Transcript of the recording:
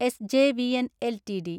SJVN LTD